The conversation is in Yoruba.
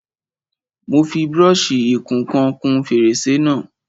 Mo fi brọ́ṣì ìkun ìkan kún fèrèsé náà.